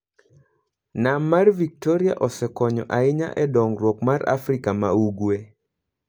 Nam mar Victoria osekonyo ahinya e dongruok mar Afrika ma Ugwe.